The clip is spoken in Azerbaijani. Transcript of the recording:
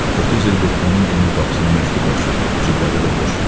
30 ildir onun bunun qapısına məktub daşıyır, cibləri də boş.